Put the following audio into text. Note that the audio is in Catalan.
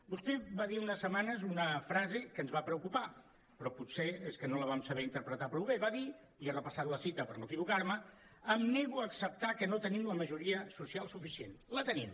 vostè va dir fa unes setmanes una frase que ens va preocupar però potser és que no la vam saber interpretar prou bé va dir i he repassat la cita per no equivocar me em nego a acceptar que no tenim la majoria social suficient la tenim